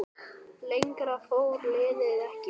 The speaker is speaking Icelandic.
Lengra fór liðið ekki.